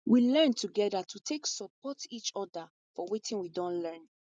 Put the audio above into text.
we learn together to take support each other for watin we don learn